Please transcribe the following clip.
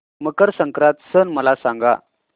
मकर संक्रांत सण मला सांगा